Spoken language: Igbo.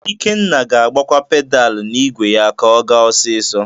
Ikenna ga-agbakwa pedalu n'igwe ya ka ọ gaa ọsisọ.